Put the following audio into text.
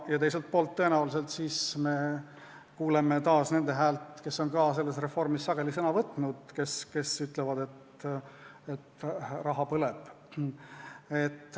Ja teiselt poolt kuuleme me tõenäoliselt taas ka nende häält, kes on samuti selles reformis sageli sõna võtnud ja kes ütlevad, et raha põleb.